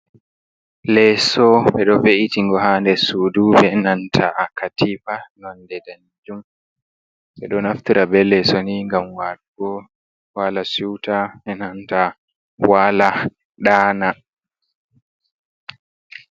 Leeso, ɓe ɗo we'iti ngo ha nder suudu be nanta katiifa nonnde daneejum. Ɓe ɗo naftira be leeso ni ngam walugo, wala siwta be nanta waala ɗaana.